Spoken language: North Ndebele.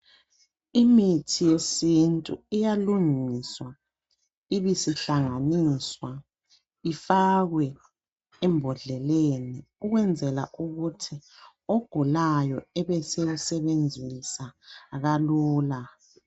Imithi yesintu iyalungiswa ibisihlanganiswa ifakwe embodleleni ukwenzela ukuthi ogulayo ebe seyisebenzisa kalula